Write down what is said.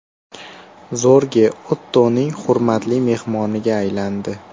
Zorge Ottoning hurmatli mehmoniga aylandi.